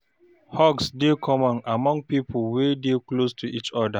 Hugs dey common among pipo wey dey close to each oda